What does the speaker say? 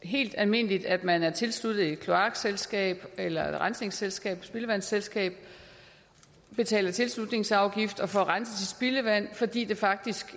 helt almindeligt at man er tilsluttet et kloakselskab eller rensningsselskab et spildevandsselskab betaler tilslutningsafgift og får renset sit spildevand fordi det faktisk